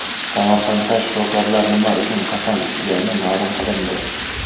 Samarqandda shifokorlar nima uchun qasam ichgani ma’lum qilindi.